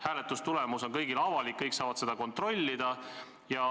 Hääletustulemus on kõigile avalik, kõik saavad seda kontrollida.